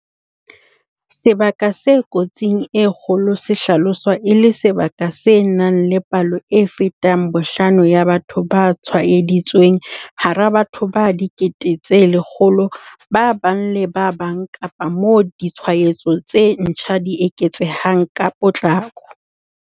Sebaka se kotsing e kgolo se hlaloswa e le sebaka se nang le palo e fetang bohlano ya batho ba tshwaeditsweng hara batho ba 100 000 ba bang le ba bang kapa moo ditshwaetso tse ntjha di eketsehang ka potlako.